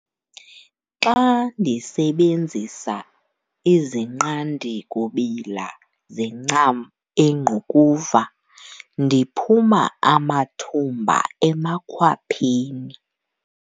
Xa ndisebenzisa izinqandi-kubila zencam engqukuva ndiphuma amathumba emakhwapheni.